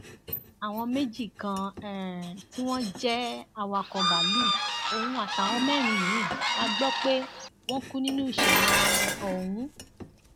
àwọn méjì kan um tí wọn jẹ awakọ báàlúù ọhún àtàwọn mẹrin míín la gbọ pé pé wọn kú nínú ìṣẹlẹ um ọhún